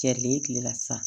Cɛlen kilela sisan